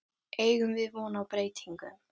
Eigum við von á breytingum?